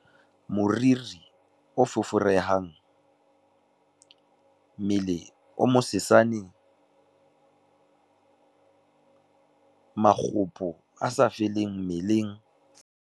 Moriri o foforehang, mmele o mosesane, makgopo a sa feleng mmeleng.